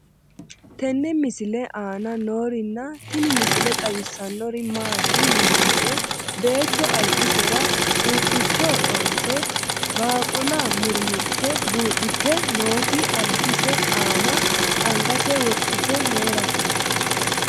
tenne misile aana noorina tini misile xawissannori maati yinummoro beetto alibbisera quuphphicho dhoose baaqulla murimmmuritte buudhdhitte nootti alibbisse aanna angasse wodhitte heerasse